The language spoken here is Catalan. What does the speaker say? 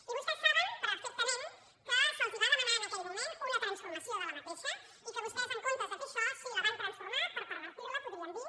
i vostès saben perfectament que se’ls va demanar en aquell moment una transformació d’aquesta i que vostès en comptes de fer això sí la van transformar per pervertir la en podríem dir